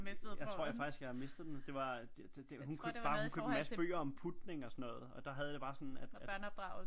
Jeg tror faktisk jeg har mistet den det var hun købte bare hun købte en masse bøger om putning og sådan noget og der havde jeg det bare sådan at